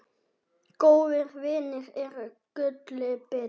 Góðir vinir eru gulli betri.